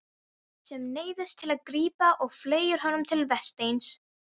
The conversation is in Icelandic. Sem neyðist til að grípa og fleygir honum til Vésteins.